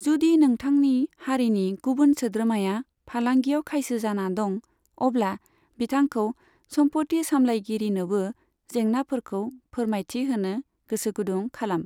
जुदि नोंथांनि हारिनि गुबुन सोद्रोमाया फालांगियाव खायसो जाना दं, अब्ला बिथांखौ सम्फथि सामलायगिरिनोबो जेंनाफोरखौ फोरमायथि होनो गोसोगुदुं खालाम।